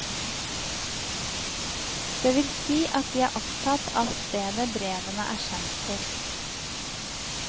Det vil si at de er opptatt av stedet brevene er sendt til.